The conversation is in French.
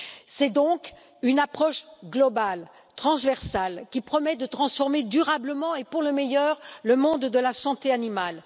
C'est donc une approche globale, transversale, qui promet de transformer durablement et pour le meilleur, le monde de la santé animale.